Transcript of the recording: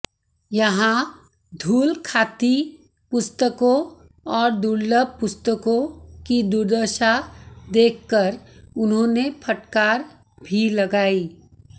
यहां धूल खाती पुस्तकों और दुर्लभ पुस्तकों की दुर्दशा देखकर उन्होंने फटकार भी लगाई